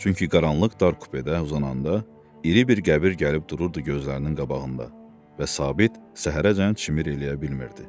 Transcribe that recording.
Çünki qaranlıq dar kupedə uzananda, iri bir qəbir gəlib dururdu gözlərinin qabağında və Sabit səhərəcən çimir eləyə bilmirdi.